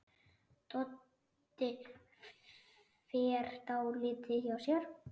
Doddi fer dálítið hjá sér.